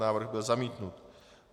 Návrh byl zamítnut.